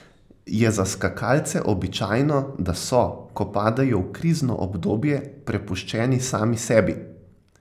Je za skakalce običajno, da so, ko padejo v krizno obdobje, prepuščeni sami sebi?